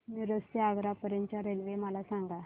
मिरज ते आग्रा पर्यंत च्या रेल्वे मला सांगा